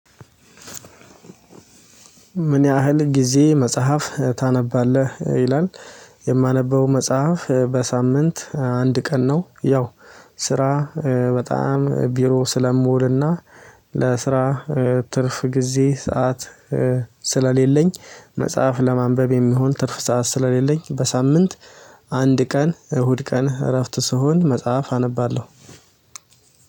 ምን ያህል ጊዜ መጽሐፍ ታነባለህ ይላል? የማነበው መጽሐፍ በሳምንት አንድ ቀን ነው። ያው ስራ በጣም ቢሮ ስለምውልና ለስራ ትርፍ ጊዜ ሰዓት ስለሌለኝ መጽሐፍ ለማንበብ የሚሆን ትርፍ ሰዓት ስለሌለኝ በሳምንት አንድ ቀን እሁድ ቀን እረፍት ስሆን መጽሐፍ አነባለሁ።